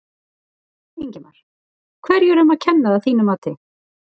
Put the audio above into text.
Ingimar: Hverju er um að kenna að þínu mati?